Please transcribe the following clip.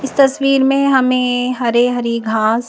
इस तस्वीर में हमें हरे हरी घास--